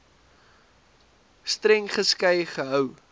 streng geskei gehou